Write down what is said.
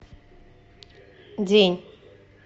день